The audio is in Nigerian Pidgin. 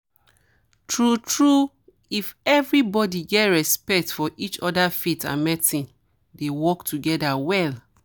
true true if everybody get respect for each other faith and medicine dey work together well